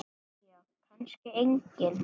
Jæja kannski enginn.